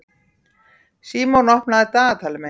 Símon, opnaðu dagatalið mitt.